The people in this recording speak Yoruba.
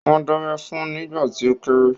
Wọ́n dábẹ́ fun nígbà tí ó kéré